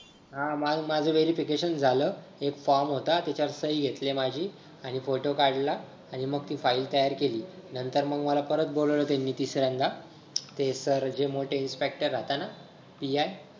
हा माझं verification झालं एक form होता त्याच्या वर सही घेतलीये माझी आणि photo काढला आणि मग ती file तयार केली नंतर मंग मला परत बोलवलं त्यांनी तिसऱ्यांदा ते Sir जे मोठे inspector राहता ना PI.